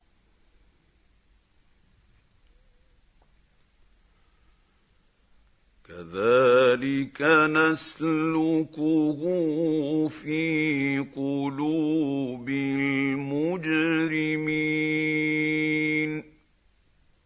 كَذَٰلِكَ نَسْلُكُهُ فِي قُلُوبِ الْمُجْرِمِينَ